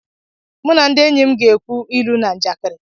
Mụ na ndị enyi m ga-ekwu ilu na njakịrị.